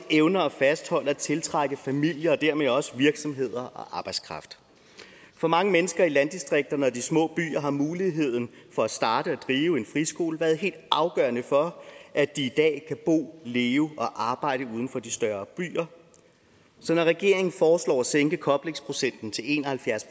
evner at fastholde og tiltrække familier og dermed også virksomheder og arbejdskraft for mange mennesker i landdistrikterne og de små byer har muligheden for at starte og drive en friskole været helt afgørende for at de i dag kan bo leve og arbejde uden for de større byer så når regeringen foreslår at sænke koblingsprocenten til en og halvfjerds